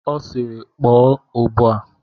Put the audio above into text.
Ọ sịịrị, kpọọ ụbọ a!